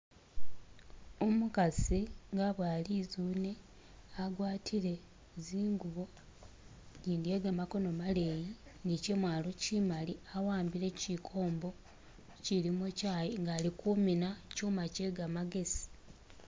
Umukaasi nga aboya litsune agwatile zingubo , ijindi iye kamakono maleeyi ni chemwalo chimali awambile chikombo chilimo chayi, nga ali kumina chuma che gamagesi.